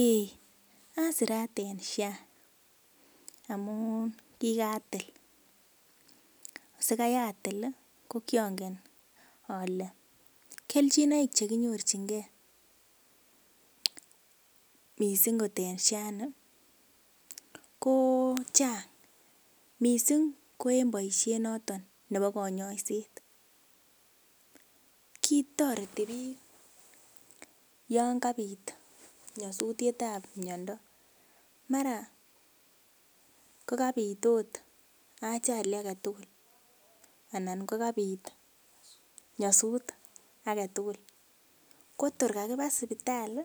Eei asirat en Social Health Authority amun kikatil, sikai atil ih ko kiongen ole kelchinoik cheinyorchinigee missing kot en Social Health Authority ni ko chang missing ko en boisiet noton nebo konyoiset kitoreti biik yan kabit nyosutiet ab miondo mara kokabit ot ajali aketugul anan kokabit nyosut aketugul ko tor kakiba sipitali